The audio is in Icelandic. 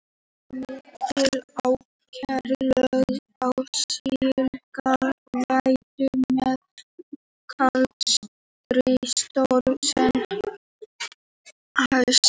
Var mikil áhersla lögð á slíka vöktun meðan kalda stríði stóð sem hæst.